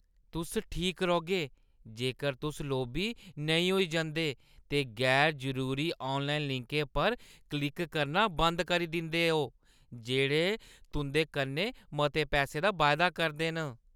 तुस ठीक रौह्‌गे जेकर तुस लोभी नेईं होई जंदे ते गैर-जरूरी ऑनलाइन लिंकें पर क्लिक करना बंद करी दिंदे ओ जेह्ड़े तुं'दे कन्नै मते पैसें दा वायदा करदे न।